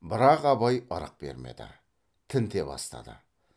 бірақ абай ырық бермеді тінте бастады